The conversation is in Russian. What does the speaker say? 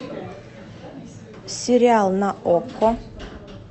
сериал на окко